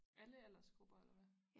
Alle aldersgrupper eller hvad